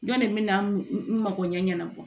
Jɔn de bɛ na n makoɲɛ ɲɛnabɔ